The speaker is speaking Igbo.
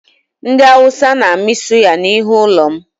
Ndị Awụsa na-amị suya n'ihu ụlọ m